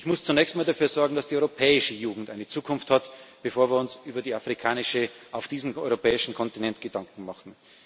holen. Wir müssen zunächst einmal dafür sorgen, dass die europäische Jugend eine Zukunft hat, bevor wir uns über die afrikanische auf diesem europäischen Kontinent Gedanken